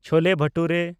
ᱪᱷᱳᱞᱮ ᱵᱷᱟᱴᱩᱨᱮ